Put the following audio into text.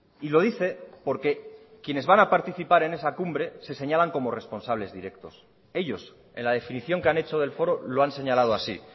y lo dice porque quienes van a participar en esa cumbre se señalan como responsables directos ellos en la definición que han hecho del foro lo han señalado así